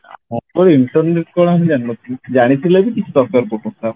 मतलब internet କଣ ଆମେ ଜାଣିନଥିଲୁ ଜାଣିଥିଲେ ବି କିଛି ଦରକାର ପଡୁନଥିଲା